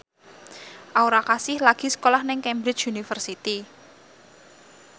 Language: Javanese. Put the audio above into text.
Aura Kasih lagi sekolah nang Cambridge University